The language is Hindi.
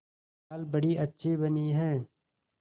दाल बड़ी अच्छी बनी है